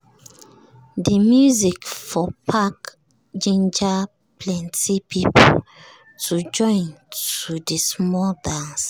de music for park ginger plenti people to join to the small dance.